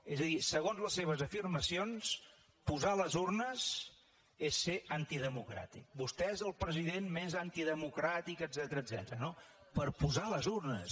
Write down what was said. és a dir segons les seves afirmacions posar les urnes és ser antidemocràtic vostè és el president més antidemocràtic etcètera no per posar les urnes